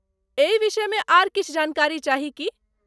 एहि विषयमे आर किछु जानकारी चाही की ?